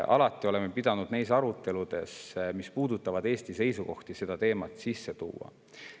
Alati oleme pidanud neis aruteludes, mis puudutavad Eesti seisukohti, seda teemat sisse tooma.